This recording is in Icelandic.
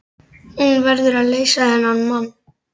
Hún verður að leysa þennan mann.